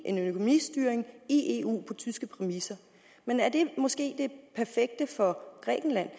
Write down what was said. en økonomistyring i eu på tyske præmisser men er det måske det perfekte for grækenland